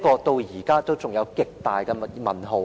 至今仍有極大的"問號"。